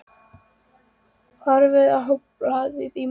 Horfir á hann blaða í möppunni.